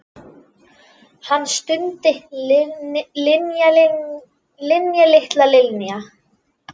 Hann stundi: Linja, litla Linja.